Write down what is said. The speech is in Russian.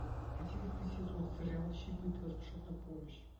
одиннадцатый сезон сериал чип и дейл спешат на помощь